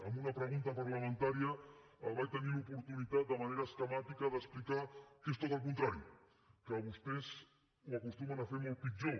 en una pregunta parlamentària vaig tenir l’oportunitat de manera esquemàtica d’explicar que és tot el contrari que vostès ho acostumen a fer molt pitjor